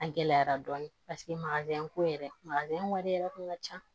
A gɛlɛyara dɔɔni paseke ko yɛrɛ wari yɛrɛ kun ka ca